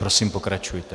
Prosím, pokračujte.